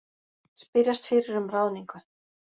Spyrjast fyrir um ráðningu